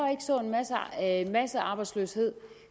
en massearbejdsløshed